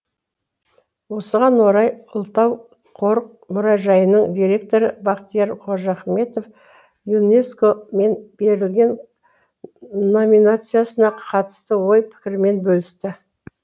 осыған орай ұлытау қорық мұражайының директоры бақтияр қожахметов юнеско мен берілген номинациясына қатысты ой пікірімен бөлісті